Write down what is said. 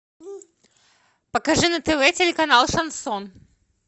покажи на тв телеканал шансон